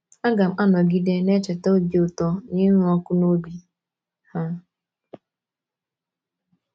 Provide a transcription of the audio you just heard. Aga m anọgide na - echeta obi ụtọ na ịnụ ọkụ n’obi ha.